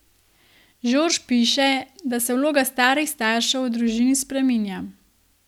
Žorž piše, da se vloga starih staršev v družini spreminja.